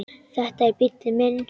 Þetta er bíllinn minn